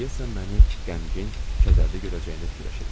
O deyəsən məni qəmgin, kədərli görəcəyini fikirləşirmiş.